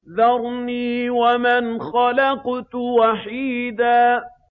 ذَرْنِي وَمَنْ خَلَقْتُ وَحِيدًا